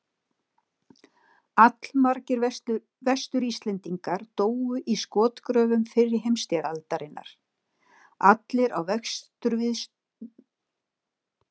Allmargir Vestur-Íslendingar dóu í skotgröfum fyrri heimsstyrjaldarinnar, allir á vesturvígstöðvunum í Belgíu og Norður-Frakklandi.